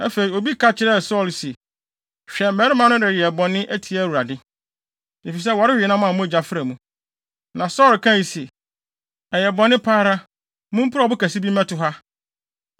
Afei, obi ka kyerɛɛ Saulo se, “Hwɛ! Mmarima no reyɛ bɔne atia Awurade, efisɛ wɔrewe nam a mogya fra mu.” Na Saulo kae se, “Ɛyɛ bɔne pa ara. Mumpirew ɔbo kɛse bi mmɛto ha.